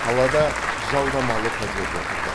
қалада жалдамалы пәтерде тұрдық